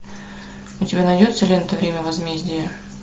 у тебя найдется лента время возмездия